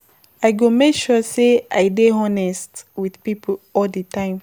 I go make sure sey I dey honest wit pipo all di time.